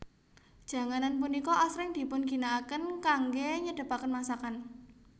Janganan punika asring dipunginakaken kanggé nyedhepaken masakan